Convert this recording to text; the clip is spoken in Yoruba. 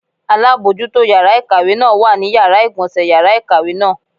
Alábojútó yàrá ìkàwé náà wà ní Yàrá ìgbọ̀nsé yàrá ìkàwé náà.